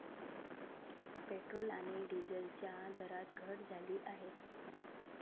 Petrol आणि डिझेलच्या दरात घट झाली आहे.